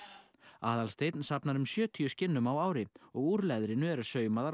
Aðalsteinn safnar um sjötíu skinnum á ári og úr leðrinu eru saumaðar og